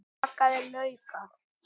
Bakaðir laukar